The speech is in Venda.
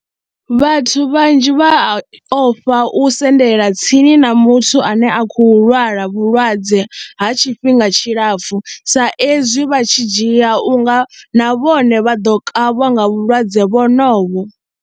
Vhathu vhanzhi vha ya ofha u sendela tsini na muthu ane a khou lwala vhulwadze ha tshifhinga tshilapfhu sa ezwi vha tshi dzhia u nga na vhone vha ḓo kavhwa nga vhulwadze vhonovho.